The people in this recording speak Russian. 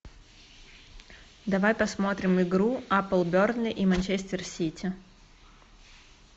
давай посмотрим игру апл бернли и манчестер сити